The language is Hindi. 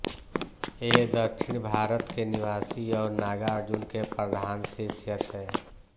ये दक्षिण भारत के निवासी और नागार्जुन के प्रधान शिष्य थे